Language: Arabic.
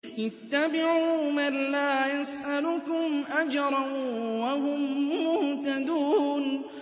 اتَّبِعُوا مَن لَّا يَسْأَلُكُمْ أَجْرًا وَهُم مُّهْتَدُونَ